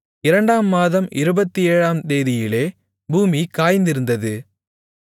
இரண்டாம் மாதம் இருபத்தேழாம் தேதியிலே பூமி காய்ந்திருந்தது